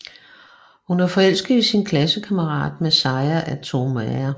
Hun er forelsket i sin klassekammerat Masaya Aoyama